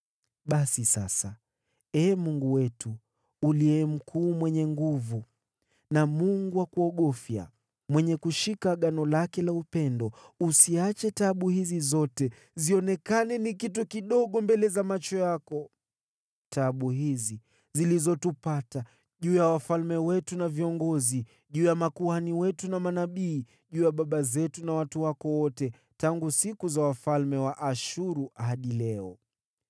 “Basi sasa, Ee Mungu wetu, uliye mkuu, mwenye nguvu na Mungu wa kuogofya, mwenye kushika agano lake la upendo, usiache taabu hizi zote zionekane kuwa kitu kidogo mbele za macho yako, taabu hizi zilizotupata, juu ya wafalme wetu na viongozi, juu ya makuhani wetu na manabii, juu ya baba zetu na watu wako wote, tangu siku za wafalme wa Ashuru hadi leo.